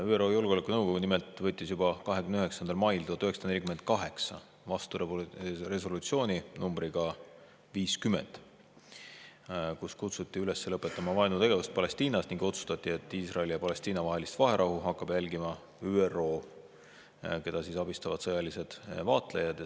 ÜRO Julgeolekunõukogu võttis nimelt juba 29. mail 1948 vastu resolutsiooni numbriga 50, milles kutsuti üles lõpetama vaenutegevust Palestiinas ning otsustati, et Iisraeli ja Palestiina vahelist vaherahu hakkab jälgima ÜRO, keda abistavad sõjalised vaatlejad.